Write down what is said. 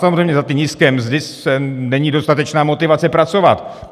Samozřejmě za ty nízké mzdy není dostatečná motivace pracovat.